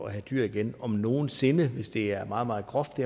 have dyr igen om nogen sinde hvis det lavet er meget meget groft